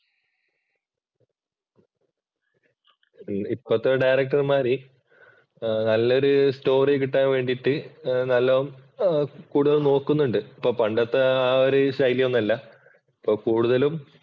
ഇപ്പത്തെ ഡയറക്ടര്‍മാര് നല്ലൊരു സ്റ്റോറി കിട്ടാൻ വേണ്ടിയിട്ട് നല്ല കൂടുതലും നോക്കുന്നുണ്ട്. ഇപ്പോൾ പണ്ടത്തെ ആ ഒരു ശൈലി ഒന്നുമല്ല. ഇപ്പൊ കൂടുതലും